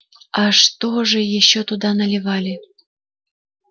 а что же ещё туда наливали